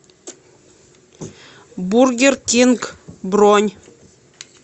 бургер кинг бронь